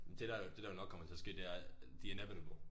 Men det der det der jo nok kommer til at ske det er the inevitable